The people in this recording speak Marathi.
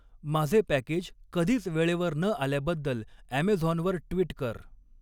माझे पॅकेज कधीच वेळेवर न आल्याबद्दल ॲमेझॉनवर ट्विट कर